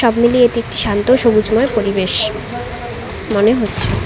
মিলিয়ে এটি একটি শান্ত সবুজময় পরিবেশ মনে হচ্ছে।